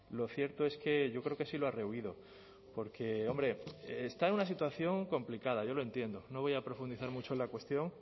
lo cierto es que yo creo que sí lo ha rehuido porque hombre está en una situación complicada yo lo entiendo no voy a profundizar mucho en la cuestión